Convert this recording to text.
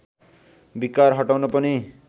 विकार हटाउन पनि